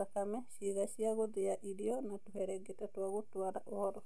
thakame, ciega cia gũthĩa irio na tũherengeta twa gũtwara ũhoro.